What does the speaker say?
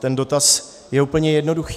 Ten dotaz je úplně jednoduchý.